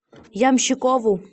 ямщикову